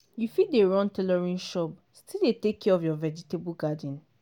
you fit dey run tailoring shop still dey take care of your vegetable garden.